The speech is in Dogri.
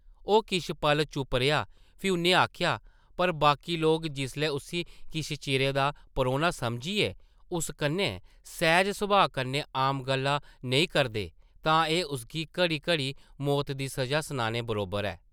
ओह् किश पल चुप रेहा फ्ही उʼन्नै आखेआ, ‘‘पर बाकी लोक जिसलै उस्सी किश चिरै दा परौह्ना समझियै उस कन्नै सैह्ज-सभाऽ कन्नै आम गल्लां नेईं करदे तां एह् उसगी घड़ी-घड़ी मौत दी सʼज़ा सनाने बरोबर ऐ ।’’